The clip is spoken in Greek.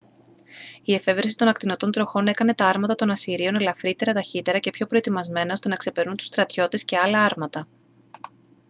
η εφεύρεση των ακτινωτών τροχών έκανε τα άρματα των ασσυρίων ελαφρύτερα ταχύτερα και πιο προετοιμασμένα ώστε να ξεπερνούν τους στρατιώτες και άλλα άρματα